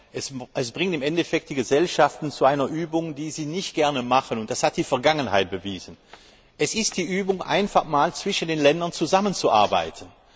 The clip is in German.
Es bringt im Endeffekt die Gesellschaften zu einer Übung, die sie nicht gerne machen, das hat die Vergangenheit bewiesen. Es ist die Übung, einfach einmal zwischen den Ländern zusammenzuarbeiten.